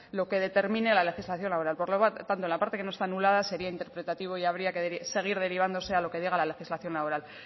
lo que determine la legislación laboral por lo tanto en la parte que no está anulada sería interpretativo y habría que seguir derivándose a lo que diga la legislación laboral